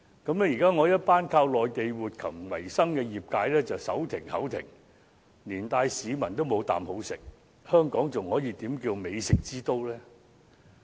於是，現在一群依靠內地活禽為生的業界人士便"手停口停"，連帶市民也"無啖好食"，香港又怎能稱為美食之都呢？